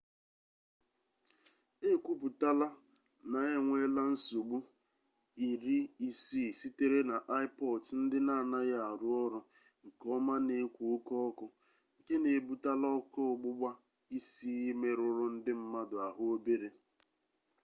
e kwuputala na na e nweela nsogbu 60 sitere na ipods ndị n'anaghị arụ ọrụ nke ọma na-ekwo oke ọkụ nke na-ebutala ọkụ ọgbụgba isii merụrụ ndị mmadụ ahụ obere